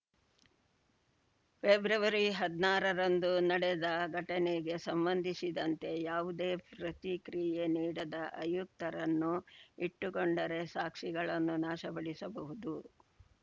February ಹದ್ನಾರರಂದು ನಡೆದ ಘಟನೆಗೆ ಸಂಬಂಧಿಸಿದಂತೆ ಯಾವುದೇ ಪ್ರತಿಕ್ರಿಯೆ ನೀಡದ ಆಯುಕ್ತರನ್ನು ಇಟ್ಟುಕೊಂಡರೆ ಸಾಕ್ಷಿಗಳನ್ನು ನಾಶಪಡಿಸಬಹುದು